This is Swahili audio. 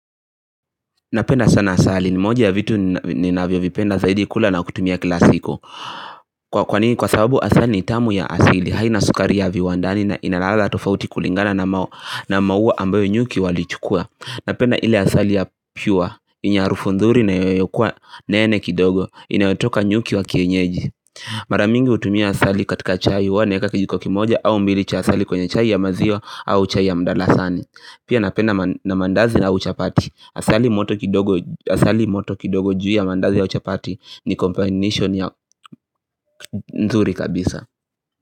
Napenda sana asali ni moja ya vitu ninavyovipenda zaidi kula na kutumia kila siku Kwanini kwa sababu asali ni tamu ya asili haina sukari ya viwandani na inalala tofauti kulingana na maua ambayo nyuki walichukua Napenda ile asali ya pure yenye arufu nzuri na inayokuwa nene kidogo inayotoka nyuki wa kienyeji Mara mingi hutumia asali katika chai huwa naeka kijiko kimoja au mbili cha asali kwenye chai ya maziwa au chai ya mdalasani Pia napenda na mandazi au chapati Asali moto kidogo juu ya mandazi au chapati ni combination ya nzuri kabisa.